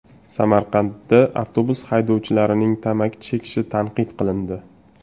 Samarqandda avtobus haydovchilarining tamaki chekishi tanqid qilindi.